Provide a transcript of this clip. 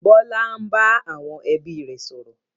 Bọlá ń bá àwọn ẹbí rẹ sọ̀rọ̀